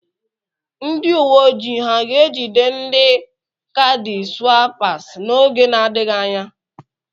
Nd uwe ojii ha ga-ejide ndi kaadị swaịpas n'oge na-adịghị anya?